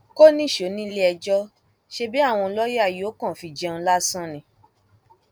kò níṣó níléẹjọ ṣebí àwọn lọọyà yóò kàn fi í jẹun lásán ni